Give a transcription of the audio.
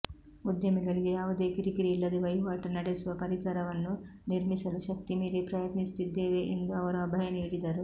ಉದ್ಯಮಿಗಳಿಗೆ ಯಾವುದೇ ಕಿರಿಕಿರಿ ಇಲ್ಲದೆ ವಹಿವಾಟು ನಡೆಸುವ ಪರಿಸರವನ್ನು ನಿರ್ಮಿಸಲು ಶಕ್ತಿಮೀರಿ ಪ್ರಯತ್ನಸುತ್ತಿದ್ದೇವೆ ಎಂದು ಅವರು ಅಭಯ ನೀಡಿದರು